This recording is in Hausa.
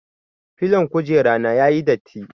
Filon kujera na ya yi datti.